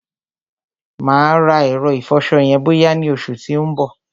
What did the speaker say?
Mà á rà ẹ̀rọ ìfọṣọ yẹn bọ́yá ni oṣù tí ó ń bọ̀.